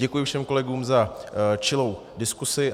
Děkuji všem kolegům za čilou diskusi.